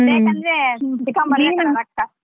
ಬೇಕಂದ್ರೆ .